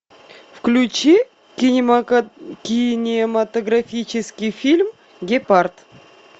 включи кинематографический фильм гепард